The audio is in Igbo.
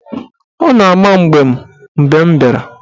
Ọ na-ama mbem mgbe m bịara.